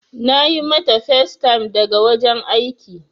Na yi mata facetime daga wajen aiki.